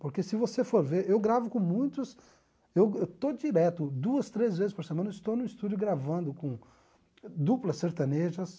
Porque se você for ver, eu gravo com muitos, eu estou direto, duas, três vezes por semana, eu estou no estúdio gravando com duplas sertanejas,